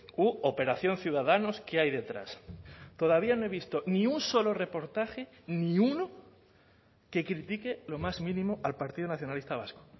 u operación ciudadanos qué hay detrás todavía no he visto ni un solo reportaje ni uno que critique lo más mínimo al partido nacionalista vasco